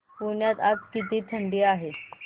पुण्यात आज किती थंडी आहे